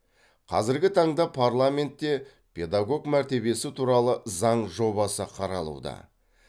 қазіргі таңда парламентте педагог мәртебесі туралы заң жобасы қаралуда